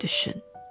Bir düşün.